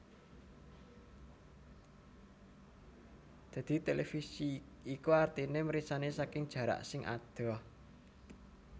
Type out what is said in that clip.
Dadi televisi iku artine mirsani saking jarak sing adoh